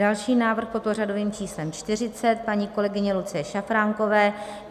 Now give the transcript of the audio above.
Další návrh, pod pořadovým číslem 40, paní kolegyně Lucie Šafránkové.